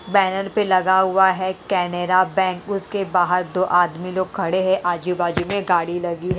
Banner पे लगा हुआ है कैनेरा बैंक उसके बाहर दो आदमी लोग खड़े हैं आजू-बाजू में गाड़ी लगी है।